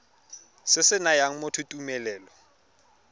se se nayang motho tumelelo